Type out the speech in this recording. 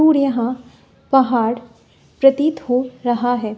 और यहां पहाड़ प्रतीत हो रहा है।